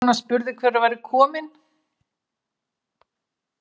Konan spurði hver kominn væri.